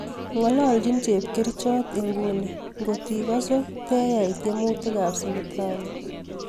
Ng'olonjin chepkirichot ingun ngot ikose te yai tyemutik ab sipitali